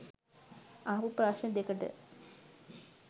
අහපු ප්‍රශ්න දෙකට